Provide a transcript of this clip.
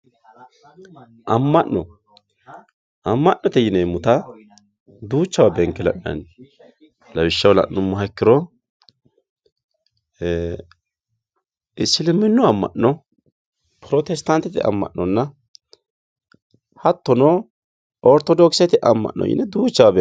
amma'no amma'note yineemota duuchawa beenke la'nanni lawishshaho la'nummo ikkiha ikkiro isiliminnu amma'no protestantete amma'nonna hattono ortodokisete amma'no yine duuchawa benkay.